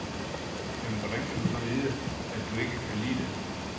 Jamen hvordan kan du så vide, at du ikke kan lide det.